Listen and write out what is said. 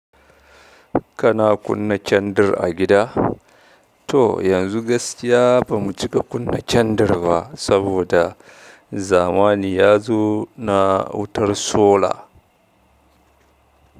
Kana kunna kyandir a gida? To yanzu gaskiya bamu cika kunna kyandir ba saboda zamani ya zo na wutar sola.